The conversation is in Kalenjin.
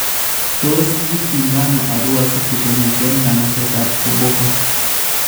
Tos kiityindano Arua city kongeten nganasetab koboko ?